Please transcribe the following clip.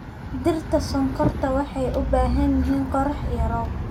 Dhirta sonkorta waxay u baahan yihiin qorrax iyo roob.